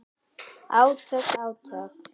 Átök, átök.